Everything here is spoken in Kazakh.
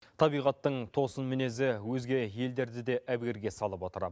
табиғаттың тосын мінезі өзге елдерді де әбігерге салып отыр